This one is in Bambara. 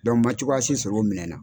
n man cogoya si sɔrɔ u minɛ na.